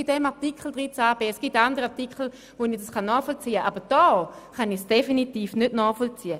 Es gibt andere Artikel, bei denen ich Ihre Haltung nachvollziehen kann, aber bei diesem Artikel kann ich es definitiv nicht nachvollziehen.